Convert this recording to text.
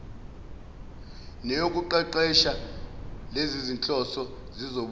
neyokuqeqesha lezizinhloso zizobuye